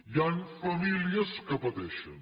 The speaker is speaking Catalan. hi ha famílies que pateixen